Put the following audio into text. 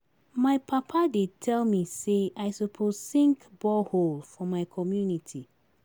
My papa dey tell me sey I suppose sink borehole for my community.